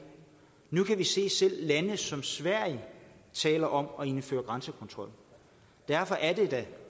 nu kan vi se at selv lande som sverige taler om at indføre grænsekontrol derfor er det da